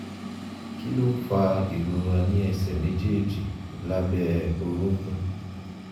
kí ló ń fa ìrora ní ẹsẹ̀ méjèèjì lábẹ́ orúnkún?